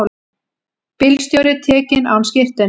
Bílstjóri tekinn án skírteinis